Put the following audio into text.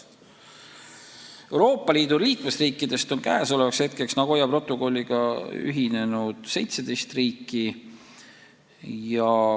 Euroopa Liidu liikmesriikidest on Nagoya protokolliga ühinenud 17 riiki.